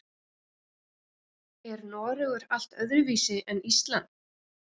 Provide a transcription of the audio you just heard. Er Noregur allt öðruvísi en Ísland?